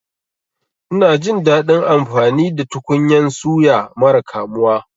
Ina jin daɗin amfani da tukunyan suya mara kamuwa.